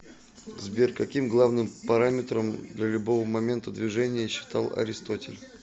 сбер каким главным параметром для любого момента движения считал аристотель